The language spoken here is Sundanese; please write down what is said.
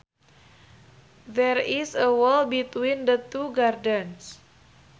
There is a wall between the two gardens